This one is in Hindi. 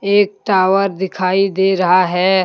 एक टावर दिखाई दे रहा है।